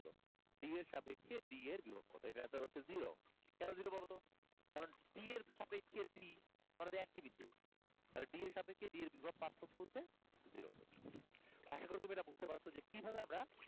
B এর সাপেক্ষে B এর বিভব কতো? এইটার answer হচ্ছে zero, কেনো zero বলতো কারন D এর সাপেক্ষে D মানে তো একটি বিন্দু তাহলে D এর সাপেক্ষে zero এর বিভব পার্থক্য হচ্ছে zero volt, আশা করি তুমি এইটা বুজতে পারসো যে কিভাবে আমরা,